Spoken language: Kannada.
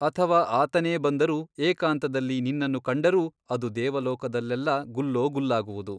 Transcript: ಅಥವಾ ಆತನೇ ಬಂದರೂ ಏಕಾಂತದಲ್ಲಿ ನಿನ್ನನ್ನು ಕಂಡರೂ ಅದು ದೇವಲೋಕದಲ್ಲೆಲ್ಲಾ ಗುಲ್ಲೋ ಗುಲ್ಲಾಗುವುದು.